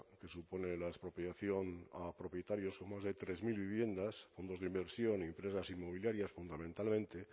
supone la expropiación a propietarios de más tres mil viviendas fondos de inversión y empresas inmobiliarias fundamentalmente